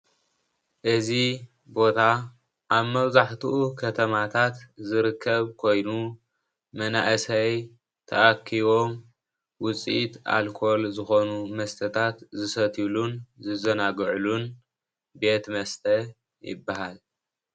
እዚ ቦታ ኣብ መብዛሕትኡ ከተማታት ዝርከብ ኮይኑ መናኣሰይ ተኣክቦም ውፅኢት ኣልኮል ዝኾኑ መስተታት ዝሰትይሉን ዝዛናጉዑልን ቤት መስተ ይባሃል።